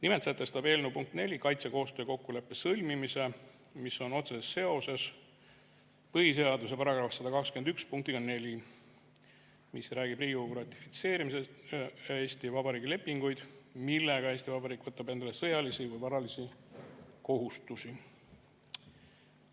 Nimelt sätestab eelnõu punkt 4 kaitsekoostöö kokkuleppe sõlmimise, mis on otseses seoses põhiseaduse § 121 punktiga 4, mis räägib sellest, et Riigikogu ratifitseerib Eesti Vabariigi lepinguid, millega Eesti Vabariik võtab endale sõjalisi või varalisi kohustusi.